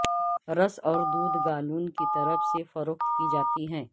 رس اور دودھ گالون کی طرف سے فروخت کی جاتی ہیں